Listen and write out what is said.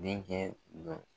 denkɛ dɔ